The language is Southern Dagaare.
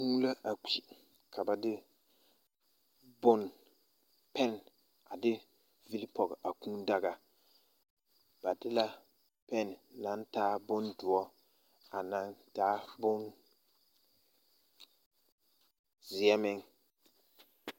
Kūū la a kpi ka ba de pɛn a de vili pɔɡe a kūūdaɡa ba de la pɛn naŋ taa bondoɔ a naŋ taa bonzeɛ meŋ.